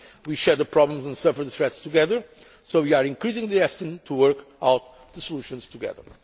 d'être We share the problems and suffer the threats together, so we are increasingly destined to work out the solutions